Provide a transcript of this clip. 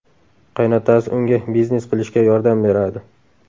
Qaynotasi unga biznes qilishga yordam beradi.